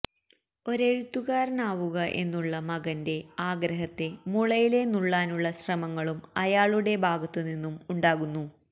ഒരെഴുത്തുകാരനാവുക എന്നുള്ള മകന്റെ ആഗ്രഹത്തെ മുളയിലേ നുള്ളാനുള്ള ശ്രമങ്ങളും അയാളുടെ ഭാഗത്ത് നിന്നും ഉണ്ടാകുന്നു